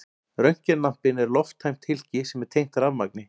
Röntgenlampinn er lofttæmt hylki sem er tengt rafmagni.